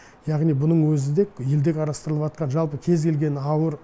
яғни бұның өзі де елде қарастырылып жатқан жалпы кез келген ауыр